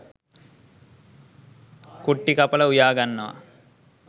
කුට්ටි කපලා උයා ගන්නවා.